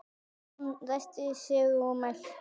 Jón ræskti sig og mælti